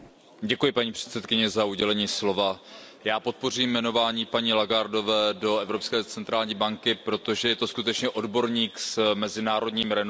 Paní předsedající, já podpořím jmenování paní Lagardeové do Evropské centrální banky, protože je to skutečně odborník s mezinárodním renomé.